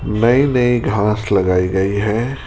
नई नई घांस लगाई गई है।